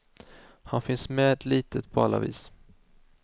Han finns med litet på alla vis.